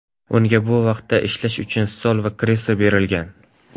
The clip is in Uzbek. Unga bu vaqtda ishlash uchun stol va kreslo berilgan.